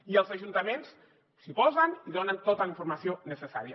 i els ajuntaments s’hi posen i donen tota la informació necessària